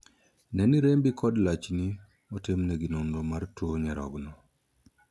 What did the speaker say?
Ne ni rembi kod lachni otimnegi nonro mar tuo nyarogno.